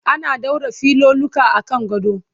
ana ɗaura filoluka akan gado